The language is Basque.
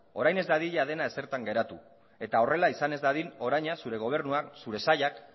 orain ez dadila dena ezertan geratu eta horrela izan ez dadin oraina zure gobernuak zure sailak